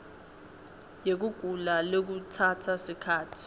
yekugula lekutsatsa sikhatsi